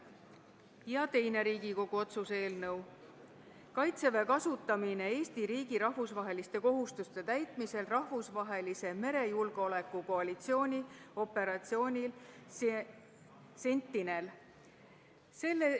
Ja teiseks, Riigikogu otsuse "Kaitseväe kasutamine Eesti riigi rahvusvaheliste kohustuste täitmisel rahvusvahelise merejulgeoleku koalitsiooni operatsioonil Sentinel" eelnõu.